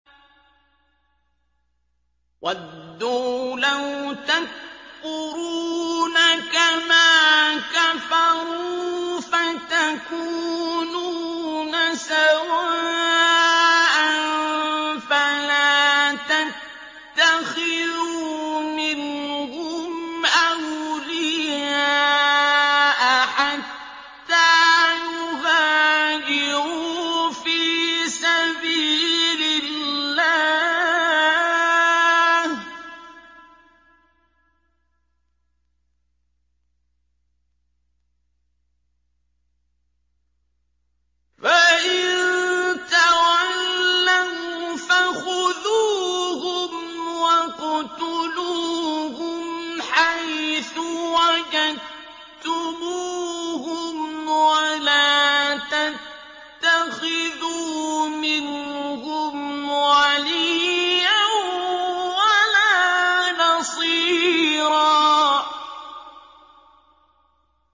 وَدُّوا لَوْ تَكْفُرُونَ كَمَا كَفَرُوا فَتَكُونُونَ سَوَاءً ۖ فَلَا تَتَّخِذُوا مِنْهُمْ أَوْلِيَاءَ حَتَّىٰ يُهَاجِرُوا فِي سَبِيلِ اللَّهِ ۚ فَإِن تَوَلَّوْا فَخُذُوهُمْ وَاقْتُلُوهُمْ حَيْثُ وَجَدتُّمُوهُمْ ۖ وَلَا تَتَّخِذُوا مِنْهُمْ وَلِيًّا وَلَا نَصِيرًا